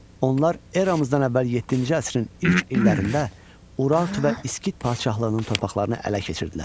Onlar eramızdan əvvəl yeddinci əsrin ilk illərində Urartu və İskit padşahlığının torpaqlarını ələ keçirdilər.